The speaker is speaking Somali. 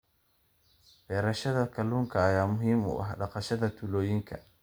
Beerashada kalluunka ayaa muhiim u ah dhaqaalaha tuulooyinka.